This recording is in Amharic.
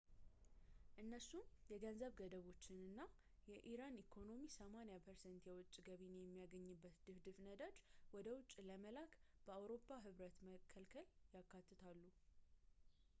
እነሱም የገንዘብ ገደቦችን እና የኢራን ኢኮኖሚ 80% የውጭ ገቢን የሚያገኝበትን ድፍድፍ ነዳጅ ወደ ውጭ ለመላክ በአውሮፓ ህብረት መከልከልን ያካትታሉ ፡፡